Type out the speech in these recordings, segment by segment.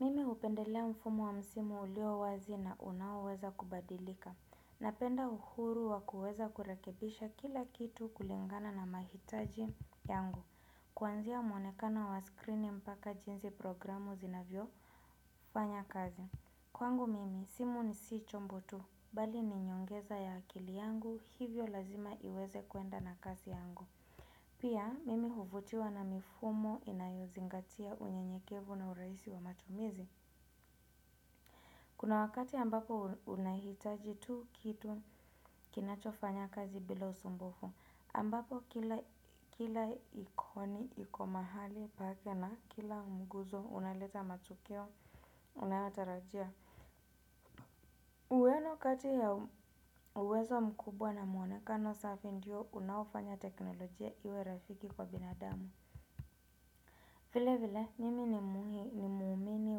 Mimi hupendelea mfumo wa msimu ulio wazi na unaoweza kubadilika. Napenda uhuru wa kuweza kurekebisha kila kitu kulingana na mahitaji yangu. Kuanzia mwonekana wa skrini mpaka jinsi programu zinavyo fanya kazi. Kwangu mimi, simu si chombo tu. Bali ni nyongeza ya akili yangu hivyo lazima iweze kuenda na kazi yangu pia mimi hivutiwa na mifumo inayozingatia unyenyekevu na urahisi wa matumizi. Kuna wakati ambapo unahitaji tu kitu kinacho fanya kazi bila usumbufu ambapo kila ikoni iko mahali pake na kila mguzo unaleta matukio unayotarajia. Uweno wakati ya uwezo mkubwa na muonekano safi ndiyo unawafanya teknolojia iwe rafiki kwa binadamu. Vile vile mimi ni mumiini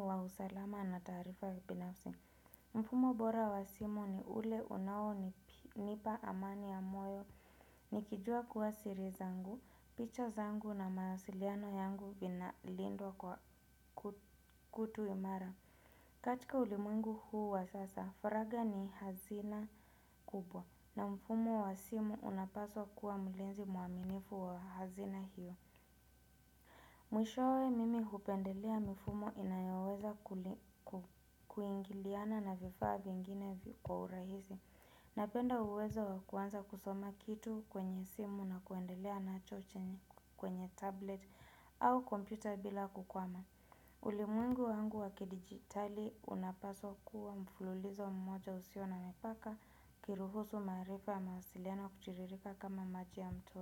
wa usalama na taarifa binafsi. Mfumo bora wa simu ni ule unao nipa amani ya moyo nikijua kuwa siri zangu picha zangu na mawasiliano yangu vinalindwa kwa kitu imara. Katika ulimwengu huu wa sasa, faraga ni hazina kubwa. Na mfumo wa simu unapaswa kuwa mlinzi mwaminifu wa hazina hiyo. Mwishowe mimi hupendelea mifumo inayoweza kuingiliana na vifaa vingine kwa urahisi. Napenda uwezo wa kuanza kusoma kitu kwenye simu na kuendelea nacho kwenye tablet au kompyuta bila kukwama. Ulimwengu wangu wa kidijitali unapaswa kuwa mfululizo mmoja usio na mipaka kiruhusu maarifa wasiliana kuchiririka kama majia mto.